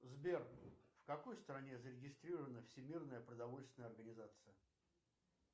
сбер в какой стране зарегистрирована всемирная продовольственная организация